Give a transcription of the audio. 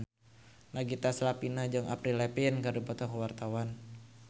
Nagita Slavina jeung Avril Lavigne keur dipoto ku wartawan